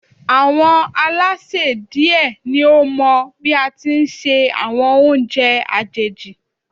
Àwọn Alásè die ni ó mọ bí á tí ń se àwọn oúnjẹ àjèjì